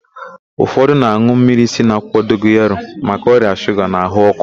Ụfọdụ na-an̄ụ mmiri si n'akwụkwọ dogoyaro maka ọrịa shuga na ahụ ọ́kụ́.